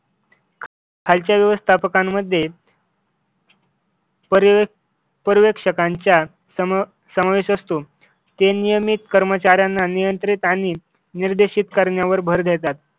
खालच्या व्यवस्थापकांमध्ये पर्यवेक्षक पर्यवेक्षकांच्या समावे समावेश असतो. ते नियमित कर्मचाऱ्यांना नियंत्रित आणि निर्देशित करण्यावर भर देतात.